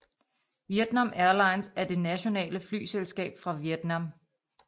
Vietnam Airlines er det nationale flyselskab fra Vietnam